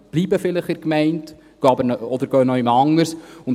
Sie bleiben vielleicht in der Gemeinde oder gehen woanders hin.